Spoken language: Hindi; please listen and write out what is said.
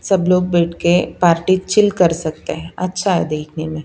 सब लोग बैठ के पार्टी चिल कर सकते हैं अच्छा है देखने में--